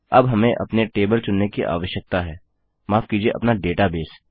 अब हमें अपने टेबल चुनने की आवश्यकता है माफ कीजिए अपना डेटाबेस